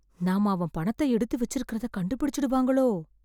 நாம அவன் பணத்தை எடுத்து வெச்சிருக்கறத கண்டுபிடிச்சுடுவாங்களோ...